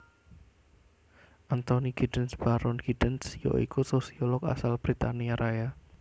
Anthony Giddens Baron Giddens ya iku sosiolog asal Britania Raya